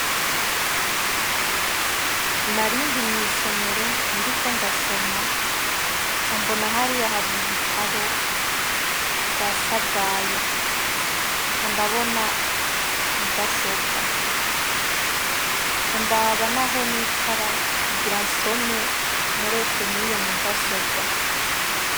Narindi mwisomero ndi ko ndasoma, ca ambona ahario hari ibitabo vya sabwaya, ca andabona mudasobwa, ca andaba na ho nicara kugira nsome mureshene ni yo mudasobwa.